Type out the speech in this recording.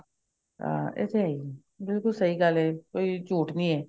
ਹਾਂ ਇਹ ਤਾਂ ਹੈ ਹੀ ਬਿਲਕੁਲ ਸਹੀ ਗੱਲ ਹੈ ਕੋਈ ਝੂਠ ਨਹੀ ਹੈ